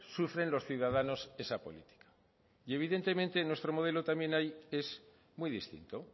sufren los ciudadanos esa política y evidentemente nuestro modelo también ahí es muy distinto